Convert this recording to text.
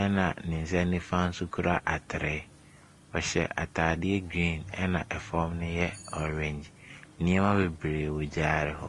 ɛna ne nsa nifa nso kura atere. Ɔhyɛ atadeɛ green, ɛna fam no yɛ orange. Nneɛma bebree wɔ gyaade hɔ.